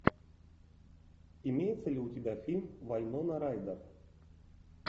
имеется ли у тебя фильм вайнона райдер